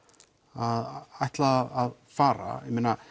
að ætla að fara